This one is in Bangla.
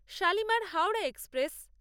শালিমার হাওড়া এক্সপ্রেস